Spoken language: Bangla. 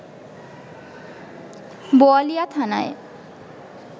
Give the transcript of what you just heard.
বোয়ালিয়া থানায়